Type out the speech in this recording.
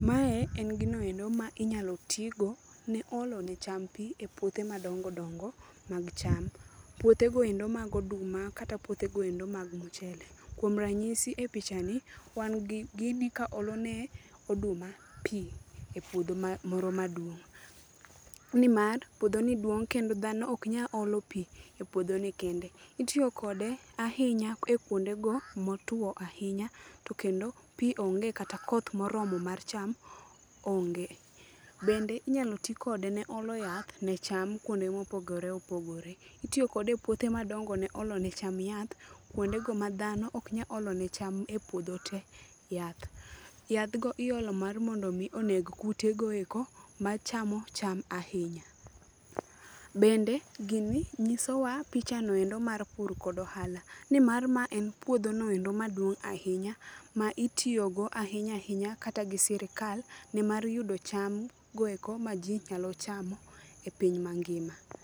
Mae en ginoendo ma inyalo tigo ne olo ne cham pi e puothe madong dongo mag cham. Puothegoendo mag oduma kata puothegoendo mag mchele. Kuom ranyisi e pichani, wan gi gini kaolone oduma pi e puodho moro maduong'. Ni mar puodhoni duong' kendo dhano oknyal olo pi e puodhoni kende. Itiyokode ahinya e kuonde go motwo ahinya, to kendo pi onge kata koth moromo mar cham onge. Bende inyalo ti kode ne olo yath ne cham kuonde mopogore opogore. Itiyokode e puothe madongo ne olone cham yath, kuondego ma dhano ok nyaolone cham e puodho te yath. Yadhgo iolo mar mondo mi onego kutego machamo cham ahinya. Bende gini nyisowa picha noendo mar pur kod ohala. Ni mar ma en puodhonoendo maduong' ahinya, ma itiyogo ahinya ahinya kata gi sirikal. Nimar yudo cham goeko ma ji nyalo chamo e piny mangima.